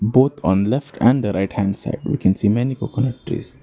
Both on the left and the right hand side we can see many coconut trees.